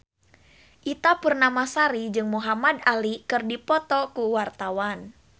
Ita Purnamasari jeung Muhamad Ali keur dipoto ku wartawan